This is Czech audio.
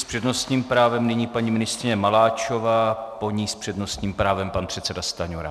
S přednostním právem nyní paní ministryně Maláčová, po ní s přednostním právem pan předseda Stanjura.